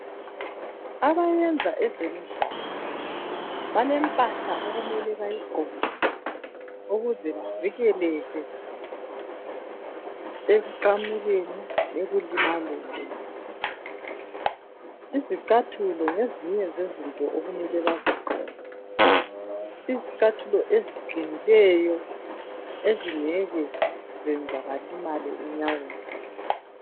Abayenza ezemidlalo balemphahla okumele bayigqoke ukuze bavikeleke ekuqamukeni, ekulimaleni. Izicathulo ngezinye zezinto okumele bazigqoke. Izicathulo eziqinileyo ezingeke zenza balimale enyaweni.